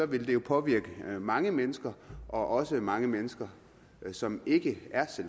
ville det jo påvirke mange mennesker også mange mennesker som ikke